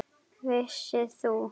Vissir þú?